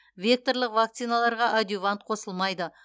векторлық вакциналарға адъювант қосылмайды